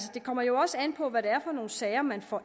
det kommer jo også an på hvad det er for nogle sager man får